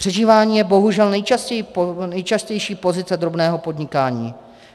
- Přežívání je bohužel nejčastější pozice drobného podnikání.